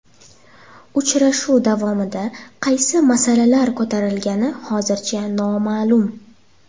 Uchrashuv davomida qaysi masalalar ko‘tarilgani hozircha noma’lum.